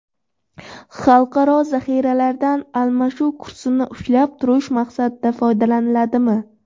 Xalqaro zaxiralaridan almashuv kursini ushlab turish maqsadida foydalaniladimi?